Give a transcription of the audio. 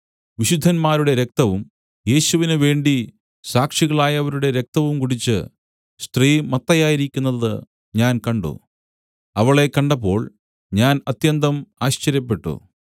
വിശുദ്ധന്മാരുടെ രക്തവും യേശുവിനു വേണ്ടി സാക്ഷികളായവരുടെ രക്തവും കുടിച്ച് സ്ത്രീ മത്തയായിരിക്കുന്നതു ഞാൻ കണ്ട് അവളെ കണ്ടപ്പോൾ ഞാൻ അത്യന്തം ആശ്ചര്യപ്പെട്ടു